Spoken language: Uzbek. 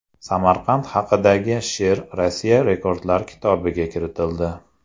Samarqand haqidagi she’r Rossiya Rekordlar kitobiga kiritildi.